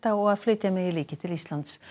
og að flytja megi líkið til Íslands